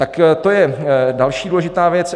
Tak to je další důležitá věc.